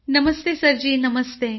नमस्ते सरजी नमस्ते